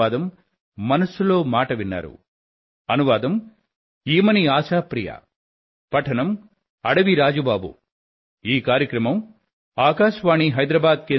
అనేకానేక ధన్యవాదాలు